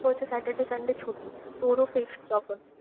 তোর তো saturday, sunday ছুটি। তোরও fixed